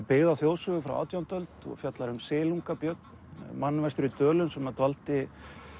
byggð á þjóðsögu frá átjándu öld og fjallar um silunga Björn mann vestur í Dölum sem dvaldi